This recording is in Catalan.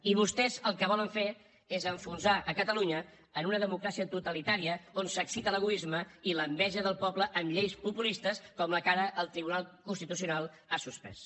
i vostès el que volen fer és enfonsar catalunya en una democràcia totalitària on s’excita l’egoisme i l’enveja del poble amb lleis populistes com la que ara el tribunal constitucional ha suspès